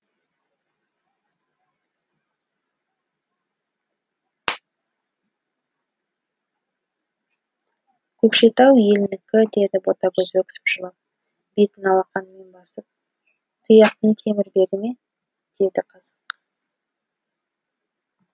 көкшетау елінікі деді ботагөз өксіп жылап бетін алақанымен басып тұяқтың темірбегі ме деді қазақ